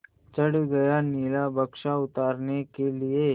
चढ़ गया नीला बक्सा उतारने के लिए